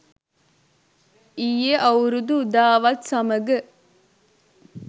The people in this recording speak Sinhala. ඊයේ අවුරුදු උදාවත් සමඟ